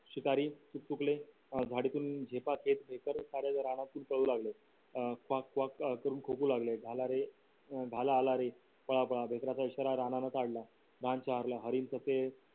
शिकारी चुक चूकले झाडे तून झोपा घेत रानात पडू लागले अं कॉक कॉक करून खोकरू लागले भालारे भाला आला रे पळापळा हरीण तर ते